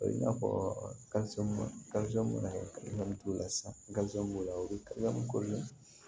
O ye i n'a fɔ mana la sisan b'u la u bɛ